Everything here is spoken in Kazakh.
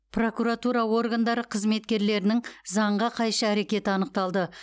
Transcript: прокуратура органдары қызметкерлерінің заңға қайшы әрекеті анықталды